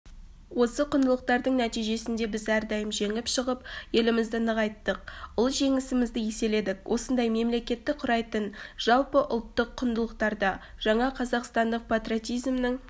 осы құндылықтардың нәтижесінде біз әрдайым жеңіп шығып елімізді нығайттық ұлы жеңісімізді еселедік осындай мемлекетті құрайтын жалпы ұлттық құндылықтарда жаңа қазақстандық патриотизмнің